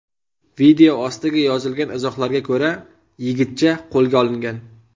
Video ostiga yozilgan izohlarga ko‘ra, yigitcha qo‘lga olingan.